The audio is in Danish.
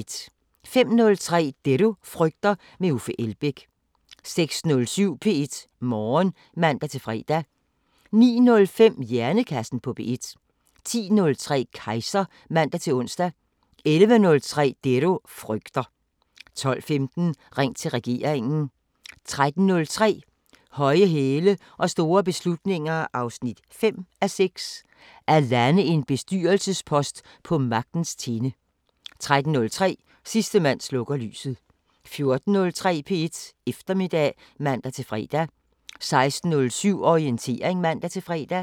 05:03: Det du frygter – med Uffe Elbæk 06:07: P1 Morgen (man-fre) 09:05: Hjernekassen på P1 10:03: Kejser (man-ons) 11:03: Det du frygter 12:15: Ring til regeringen 13:03: Høje hæle og store beslutninger 5:6 – At lande en bestyrelsespost på magtens tinde 13:30: Sidste mand slukker lyset 14:03: P1 Eftermiddag (man-fre) 16:07: Orientering (man-fre)